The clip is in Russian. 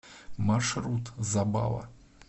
маршрут забава